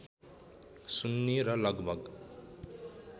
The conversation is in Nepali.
सुन्नी र लगभग